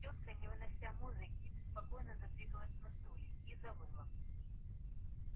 тётка не вынося музыки беспокойно задвигалась на стуле и завыла